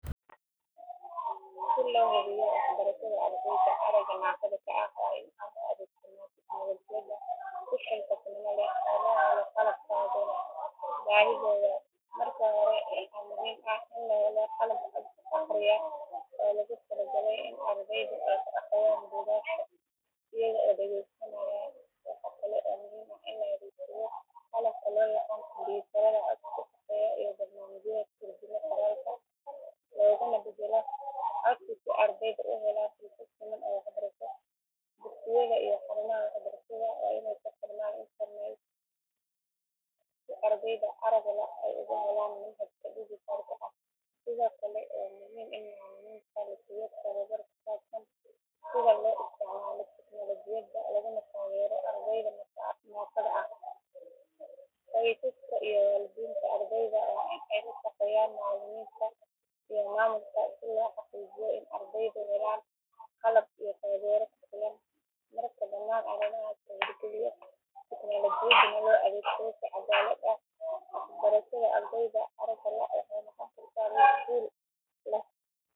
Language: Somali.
Si loo hubiyo waxbarashada ardayda aragga naafada ka ah waa in aan u adeegsanaa tignoolajiyada si xilkasnimo leh oo loo helo qalab ku habboon baahidooda. Marka hore waxaa muhiim ah in la helo qalab cod akhriya oo loogu talagalay in ardaydu ay ku akhriyaan buugaagta iyaga oo dhageysanaya. Waxaa kale oo muhiim ah in la adeegsado qalabka looyaqaan kumbuyuutarada codka ku shaqeeya iyo barnaamijyada turjuma qoraalka looguna beddelo cod si ardaydu u helaan fursad siman oo waxbarasho. Dugsiyada iyo xarumaha waxbarashada waa in ay ku xirmaan internet si ardayda aragga la’ ay ugu helaan manhajka dhijitaal ah. Sidoo kale waa muhiim in macallimiinta la siiyo tababar ku saabsan sida loo isticmaalo tignoolajiyada laguna taageero ardayda naafada ah. Qoysaska iyo waalidiinta ardayda waa in ay la shaqeeyaan macallimiinta iyo maamulka si loo xaqiijiyo in ardaydu helaan qalab iyo taageero ku filan. Marka dhammaan arrimahaas la hirgaliyo tignoolajiyaduna loo adeegsado si caddaalad ah, waxbarashada ardayda aragga la’ waxay noqon kartaa mid guul leh.